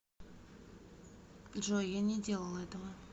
джой я не делал этого